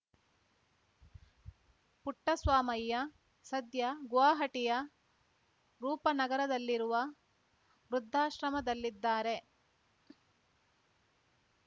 ಪುಟ್ಟಸ್ವಾಮಯ್ಯ ಸದ್ಯ ಗುವಾಹಟಿಯ ರೂಪ ನಗರದಲ್ಲಿರುವ ವೃದ್ಧಾಶ್ರಮದಲ್ಲಿದ್ದಾರೆ